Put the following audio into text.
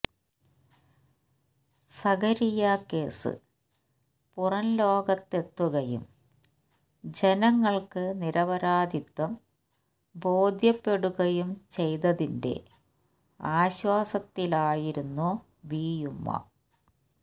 Zakariya case പുറം ലോകത്തെത്തുകയും ജനങ്ങൾക്ക് നിരപരാധിത്വം ബോധ്യപ്പെടുകയും ചെയ്തതിെൻറ ആശ്വാസത്തിലായിരുന്നു ബീയുമ്മ